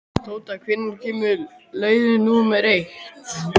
Tóta, hvenær kemur leið númer eitt?